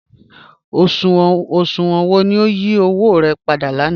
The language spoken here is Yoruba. Oṣuwọn wọ ni o yí owo rẹ̀ pàdà lànà?